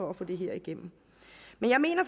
at få det her igennem men jeg mener